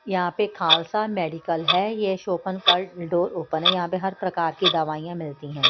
यहाँ पे खालसा मेडिकल है यह शोपन का डोर ओपन है यहाँ पे हर प्रकार की दवाइयाँ मिलती हैं।